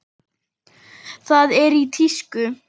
Það er í tísku.